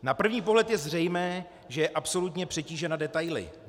Na první pohled je zřejmé, že je absolutně přetížena detaily.